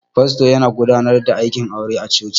Fasto yana godanar da aikin aure a cuci